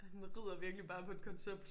Han ridder virkelig bare på et koncept